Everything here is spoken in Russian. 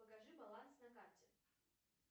покажи баланс на карте